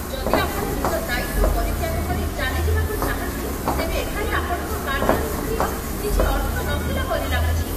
ଯଦି ଆପଣ ନିଜ ଦାୟିତ୍ଵ ପରିତ୍ୟାଗ କରି ଚାଲିଯିବାକୁ ଚାହାଁନ୍ତି, ତେବେ ଏଠାରେ ଆପଣଙ୍କ କାର୍ଯ୍ୟାନୁଭୂତିର କିଛି ଅର୍ଥ ନଥିଲା ପରି ଲାଗୁଛି।